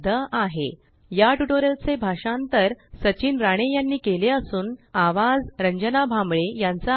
spoken tutorialorgnmeict intro या tutorial चे भाषांतर सचिन राणे यांनी केले असून आवाज रंजना भांबळे यांचा आहे